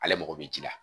Ale mago bɛ ji la